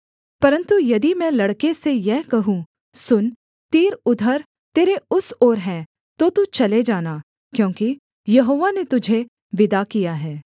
परन्तु यदि मैं लड़के से यह कहूँ सुन तीर उधर तेरे उस ओर हैं तो तू चले जाना क्योंकि यहोवा ने तुझे विदा किया है